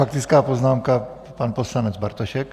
Faktická poznámka, pan poslanec Bartošek.